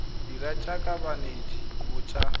dira jaaka banetshi ba tsa